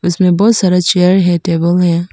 इसमें बहुत सारा चेयर है टेबल हैं।